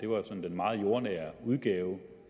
var sådan den meget jordnære udgave